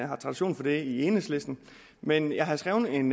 har tradition for det i enhedslisten men jeg havde skrevet en